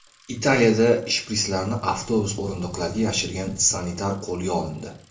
Italiyada shpritslarni avtobus o‘rindiqlariga yashirgan sanitar qo‘lga olindi.